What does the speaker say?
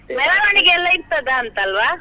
ಮೆರವಣಿಗೆಯೆಲ್ಲ ಇರ್ತದಾಂತ ಅಲ್ವಾ?